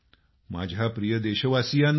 माझ्या प्रिय देशवासीयांनो